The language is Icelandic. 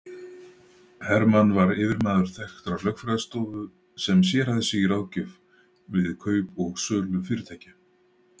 Hermann var yfirmaður þekktrar lögfræðistofu sem sérhæfði sig í ráðgjöf við kaup og sölu fyrirtækja.